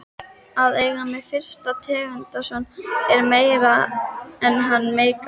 Að eiga mig fyrir tengdason er meira en hann meikar.